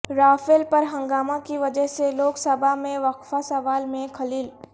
Rafale پر ہنگامہ کی وجہ سے لوک سبھا میں وقفہ سوال میں خلل